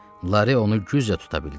Larey onu güclə tuta bildi.